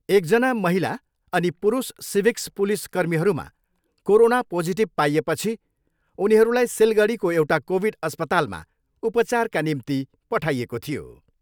एकजना महिला अनि पुरूष सिभिक्स पुलिस कर्मीहरूमा कोरोना पोजिटिभ पाइएपछि उनीहरूलाई सिलगढीको एउटा कोभिड अस्पतालमा उचारका निम्ति पठाइएको थियो।